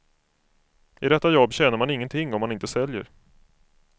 I detta jobb tjänar man ingenting om man inte säljer.